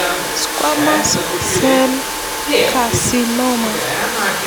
Squamous cell carcinoma.